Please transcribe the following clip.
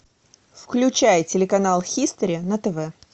включай телеканал хистори на тв